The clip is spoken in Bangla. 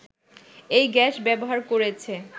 এই গ্যাস ব্যবহার করেছে